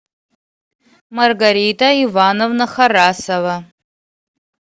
маргарита ивановна харасова